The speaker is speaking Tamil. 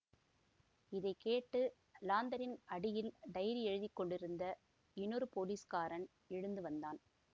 இதை கேட்டு லாந்தரின் அடியில் டைரி எழுதி கொண்டிருந்த இன்னொரு போலீஸ்காரன் எழுந்து வந்தான்